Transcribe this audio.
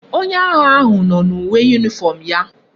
Onye agha ahu no na uwe uniform ya